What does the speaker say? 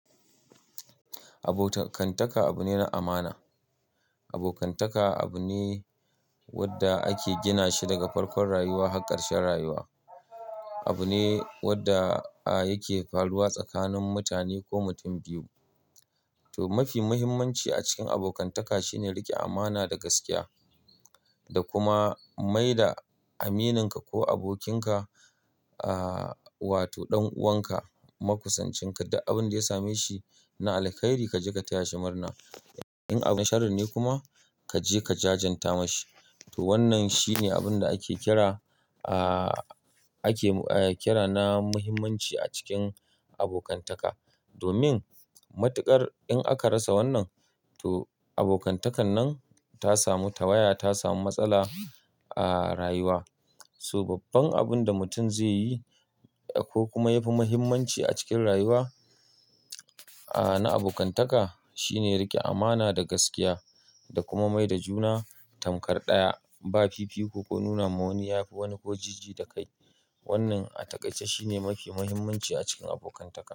Abokantaka abu ne na amana. Abokantaka abu ne wanda ake gina shi daga farkon rayuwa har karshen rayuwa. Abu ne wanda yake faruwa tsakanin mutane ko mutum biyu. To, mafi muhimmanci a cikin abokantaka shine riƙe amana da gaskiya da kuma mai da amininka ko abokinka, ah, wato ɗan uwanka, maƙusancinka, duk abin da ya same shi na alheri, ka je ka taya shi murna. In abin na sharri ne kuma ka je ka jajanta ma shi. To wannan shine abin da ake kira, ah, ake kira na muhimmanci a cikin abokantaka. Domin matuƙar in aka rasa wannan, to abokantakan nan ta samu tawaya, ta samu matsala a rayuwa. To babban abin da mutum zai yi ko kuma yafi muhimmanci a cikin rayuwa, ah, na abokantaka shine rike amana da gaskiya da kuma mai da juna tamkar ɗaya. Ba fifiko ko nuna ma wani yafi wani ko jiji da kai. Wannan a taƙaice shine mafi muhimmanci a cikin abokantaka.